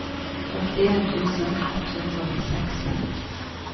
førtien tusen ett hundre og seksten